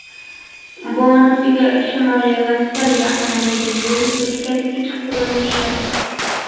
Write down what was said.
Bonusiga Shimoliy vokzal yaqinidagi yo‘l o‘tkazgich qurilishi .